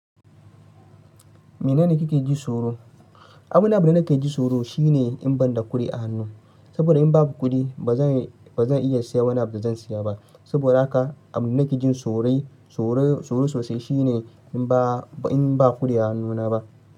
Me nane kike ji tsoro? Abunda nake ji tsoro shine in banda kudi a hannu. Saboda in babu kudi ba zan iya siya wani abu zan siya ba. Saboda haka abunda nake jin tsoro sosai shine in ba kudi a hannuna ba.